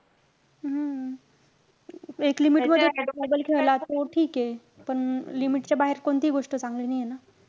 हम्म एक limit मध्ये mobile खेळला तर ठीक आहे. पण limit च्या बाहेर कोणतीही गोष्ट चांगली नाहीये ना.